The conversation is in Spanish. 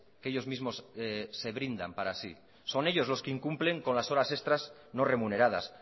que ellos mismos se brindan para sí son ellos los que incumplen con las horas extras no remuneradas